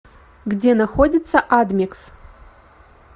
где находится адмикс